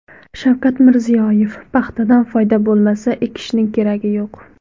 Shavkat Mirziyoyev: Paxtadan foyda bo‘lmasa, ekishning keragi yo‘q .